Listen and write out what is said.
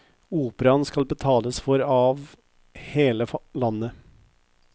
Operaen skal betales for av hele landet.